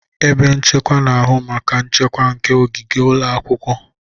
Ebe nchekwa na-ahụ maka nchekwa nke ogige ụlọ akwụkwọ.